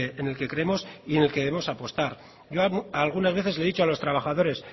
en el que creemos y en el que debemos apostar yo algunas veces les he dicho a los trabajadores